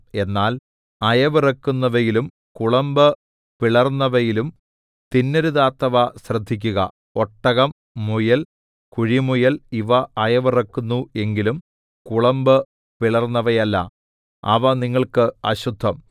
എന്നാൽ അയവിറക്കുന്നവയിലും കുളമ്പ് പിളർന്നവയിലും തിന്നരുതാത്തവ ശ്രദ്ധിക്കുക ഒട്ടകം മുയൽ കുഴിമുയൽ ഇവ അയവിറക്കുന്നു എങ്കിലും കുളമ്പ് പിളർന്നവയല്ല അവ നിങ്ങൾക്ക് അശുദ്ധം